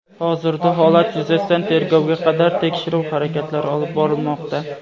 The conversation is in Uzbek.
Hozirda holat yuzasidan tergovga qadar tekshiruv harakatlari olib borilmoqda.